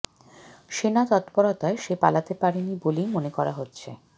সেনা তত্পরতায় সে পালাতে পারেনি বলেই মনে করা হচ্ছে